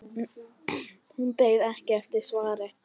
Hún beið ekki eftir svari.